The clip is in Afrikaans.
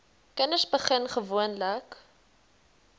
kinders begin gewoonlik